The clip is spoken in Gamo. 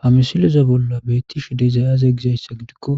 Ha misiloza bolla beettish dezayaze gizayssa gidikko